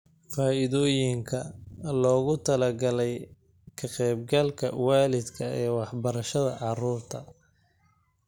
Faa'iidooyinka loogu talagalay Ka-qaybgalka Waalidka ee Waxbarashada Carruurta